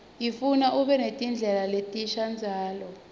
ifuna ube netinhlelo letinsha njalo